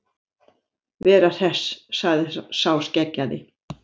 Veru Hress, sagði sá skeggjaði.